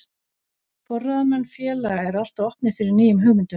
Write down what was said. Forráðamenn félaga eru alltaf opnir fyrir nýjum hugmyndum.